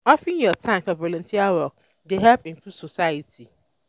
offering yur time for volunteer work dey help improve society.